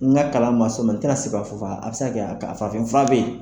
N ka kalan ma s'o ma n tɛna se k'a fɔ fana ,a bɛ se ka kɛ a farafin fura bɛ yen.